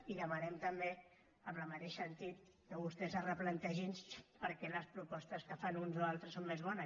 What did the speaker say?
i demanem també en el mateix sentit que vostès es replantegin per què les propostes que fan uns o altres són més bones